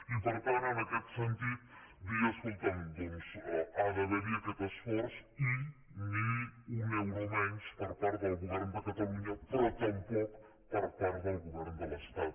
i per tant en aquest sentit dir escolta’m doncs ha d’haver hi aquest esforç i ni un euro menys per part del govern de catalunya però tampoc per part del govern de l’estat